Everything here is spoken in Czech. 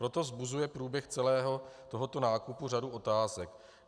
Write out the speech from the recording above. Proto vzbuzuje průběh celého tohoto nákupu řadu otázek.